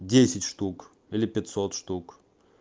десять штук или пятьсот штук